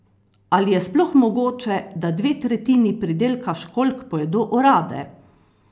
Ali je sploh mogoče, da dve tretjini pridelka školjk pojedo orade?